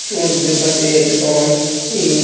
সমুদ্রের পাশে একটা লঞ্চ আছে।